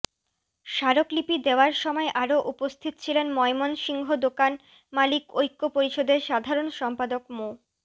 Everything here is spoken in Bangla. স্মারকলিপি দেওয়ার সময় আরো উপস্থিত ছিলেন ময়মনসিংহ দোকান মালিক ঐক্য পরিষদের সাধারণ সম্পাদক মো